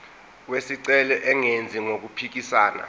wesicelo engenzi okuphikisana